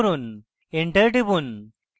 enter টিপুন